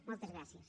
moltes gràcies